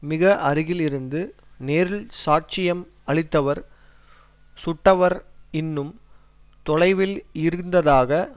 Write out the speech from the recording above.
மிக அருகில் இருந்து நேரில் சாட்சியம் அளித்தவர் சுட்டவர் இன்னும் தொலைவில் இருந்ததாக